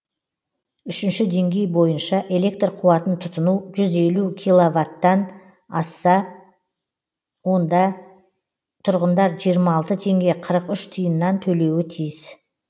үшінші деңгей бойынша электр қуатын тұтыну жүз елу квт тан асса онда тұрғындар жиырма алты теңге қырық үш тиыннан төлеуі тиіс